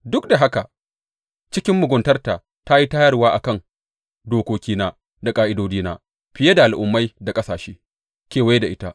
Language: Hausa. Duk da haka cikin muguntarta ta yi tayarwa a kan dokokina da ƙa’idodina fiye da al’ummai da ƙasashe kewaye da ita.